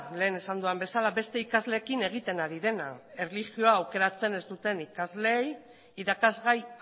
lehen esan dudan bezala beste ikasleekin egiten ari dena erlijioa aukeratzen ez duten ikasleei irakasgai